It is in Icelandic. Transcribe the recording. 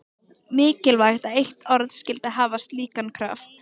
Merkilegt að eitt orð skyldi hafa slíkan kraft.